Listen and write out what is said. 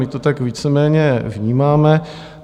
My to tak víceméně vnímáme.